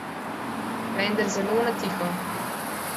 Vendar zelo na tiho.